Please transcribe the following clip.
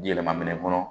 Yɛlɛma minɛn kɔnɔ